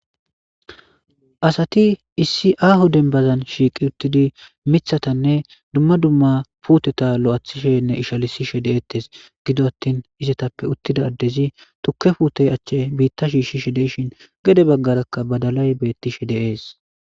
Asati issi aaho dembazan shiiqi uttidi miththatanne dumma dumma puuteta lo'athishenne ishalisishe deettes gido attin izetappe uttida addezi tukke puute achche biita shiishshishe de'ishin gede baggarakka badalay beettishe de'es.